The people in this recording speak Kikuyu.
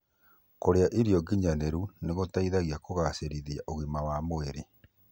Kũrĩa irio nginyanĩru nĩgũteithagia kũgacĩrithia ũgima wa mwĩrĩ